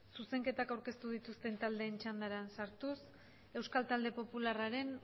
zuzenketak aurkeztu dituzten taldeen txandara sartuz euskal talde popularraren